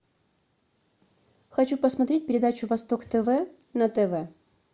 хочу посмотреть передачу восток тв на тв